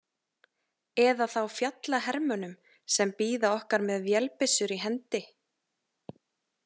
Eða þá fjallahermönnum sem bíða okkar með vélbyssur í hendi.